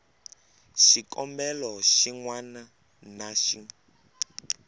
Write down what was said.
xikombelo xin wana na xin